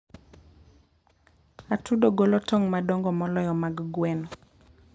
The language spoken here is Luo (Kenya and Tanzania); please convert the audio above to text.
Atudo golo tong' madongo moloyo mag gweno.